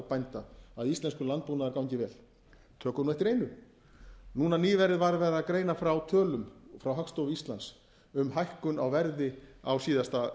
bænda að íslenskur landbúnaður gangi vel tökum eftir einu núna nýverið var verið að greina frá tölum frá hagstofu íslands um hækkun á verði á síðasta